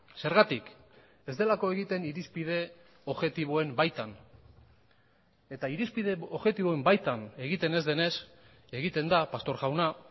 zergatik ez delako egiten irizpide objektiboen baitan eta irizpide objektiboen baitan egiten ez denez egiten da pastor jauna